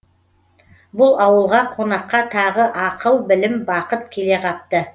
бұл ауылға қонаққа тағы ақыл білім бақыт келе қапты